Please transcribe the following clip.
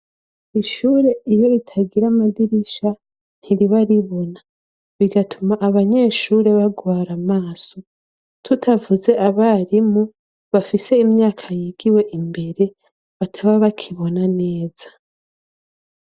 Ishure iryo ritagire amadirisha ntiribaribona bigatuma abanyeshure bagwara amaso tutavuze abarimu bafise imyaka yigiwe imbere bataba bakibona neza.